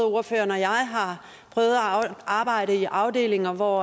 ordføreren og jeg har prøvet at arbejde i afdelinger hvor